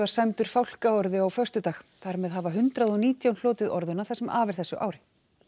sæmdur fálkaorðu á föstudag þar með hafa hundrað og nítján hlotið það sem af er þessu ári